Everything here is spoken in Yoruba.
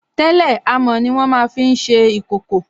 Tẹ́lẹ̀ amọ̀ ní wọ́n máa fi n ṣe ìkòkò